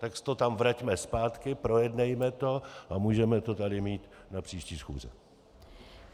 Tak to tam vraťme zpátky, projednejme to a můžeme to tady mít na příští schůzi.